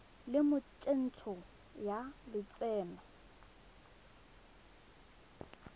le mo tsentsho ya lotseno